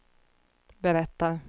berättar